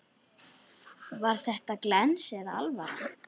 Var þetta glens eða alvara?